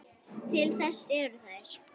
Til þess eru þær.